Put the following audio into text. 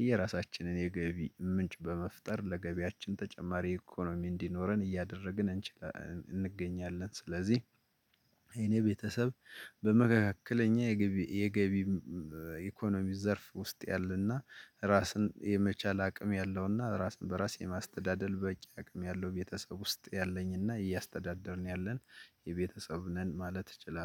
የየራሳችንን የገቢ ምንጭ በመፍጠር ለገቢያችን ተጨማሪ ኢኮኖሚ እንዲኖረን እያደረግን እንገኛለን። ስለዚህ የኔ ቤተሰብ በመካከለኛ የገቢ ኢኮኖሚ ዘርፍ ውስጥ ያለና ራስን የመቻል አቅም ያለው እና ራስን በራስ የማስተዳደር በቂ አቅም ያለው ቤተሰብ ውስጥ ያለኝ እና እያስተዳደርን ያለን ቤተሰብ ነን ማለት እችላለሁ